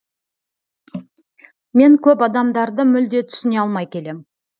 мен көп адамдарды мүлде түсіне алмай келем